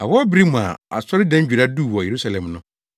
Awɔw bere bi mu a Asɔredandwira duu wɔ Yerusalem no,